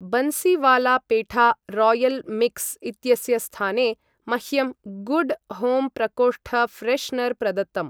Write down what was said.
Bansiwala petha royal mix इत्यस्य स्थाने, मह्यं गुड् होम् प्रकोष्ठ फ्रेश्नर् प्रदत्तम्।